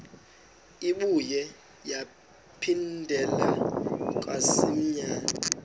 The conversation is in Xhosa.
ibuye yaphindela kamsinya